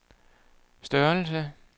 størrelse